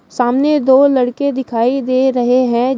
सामने दो लड़के दिखाई दे रहे हैं।